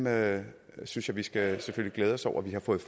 og jeg synes vi skal glæde os over at vi har fundet